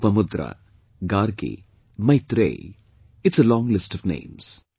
Lopamudra, Gargi, Maitreyee...it's a long list of names